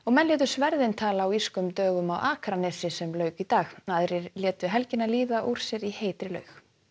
menn létu sverðin tala á írskum dögum á Akranesi sem lauk í dag aðrir létu helgina líða úr sér í heitri laug